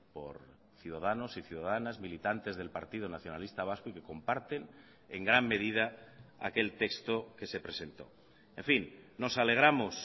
por ciudadanos y ciudadanas militantes del partido nacionalista vasco y que comparten en gran medida aquel texto que se presentó en fin nos alegramos